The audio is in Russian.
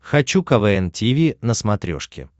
хочу квн тиви на смотрешке